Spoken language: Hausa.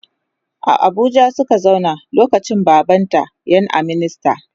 A Abuja Suka zauna lokacin baban ta ƴan a minista